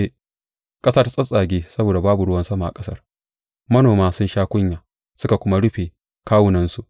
Ƙasa ta tsattsage saboda babu ruwan sama a ƙasar; manoma sun sha kunya suka kuma rufe kawunansu.